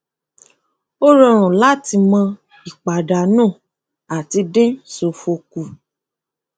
ó rọrùn láti mọ ipàdánù àti dín ṣòfò kù